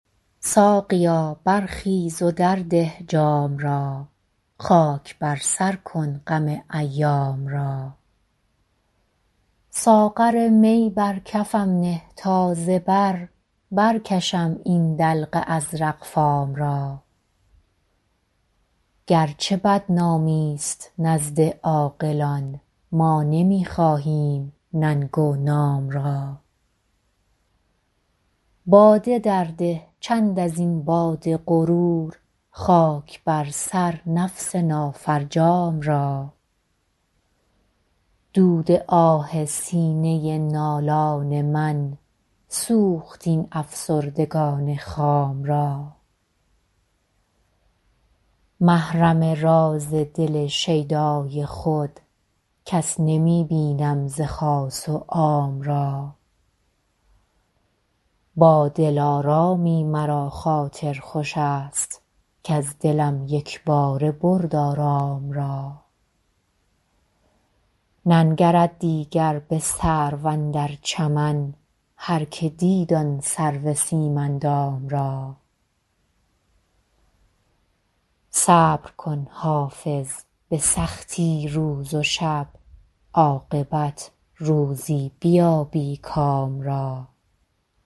ساقیا برخیز و درده جام را خاک بر سر کن غم ایام را ساغر می بر کفم نه تا ز بر برکشم این دلق ازرق فام را گرچه بدنامی ست نزد عاقلان ما نمی خواهیم ننگ و نام را باده درده چند از این باد غرور خاک بر سر نفس نافرجام را دود آه سینه نالان من سوخت این افسردگان خام را محرم راز دل شیدای خود کس نمی بینم ز خاص و عام را با دلارامی مرا خاطر خوش است کز دلم یک باره برد آرام را ننگرد دیگر به سرو اندر چمن هرکه دید آن سرو سیم اندام را صبر کن حافظ به سختی روز و شب عاقبت روزی بیابی کام را